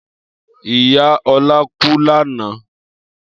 Iya Ola ku lana